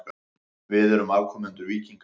Við erum afkomendur víkinga.